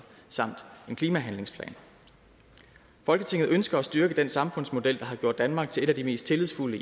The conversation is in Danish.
en klimahandlingsplan folketinget ønsker at styrke den samfundsmodel der har gjort danmark til et af de mest tillidsfulde